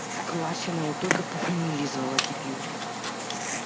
в классе она его только по фамилии звала